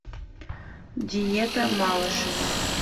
диета малышевой